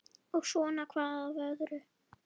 Og svona hvað af öðru.